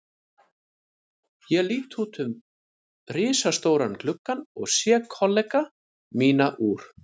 Ég lít út um risastóran gluggann og sé kollega mína úr